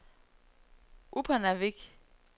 Upernavik